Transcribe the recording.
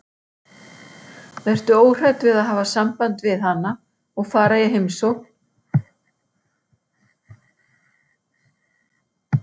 Vertu óhrædd við að hafa samband við hana og fara í heimsókn og taktu